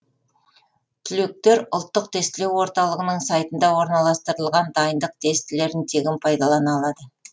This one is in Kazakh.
түлектер ұлттық тестілеу орталығының сайтында орналастырылған дайындық тестілерін тегін пайдалана алады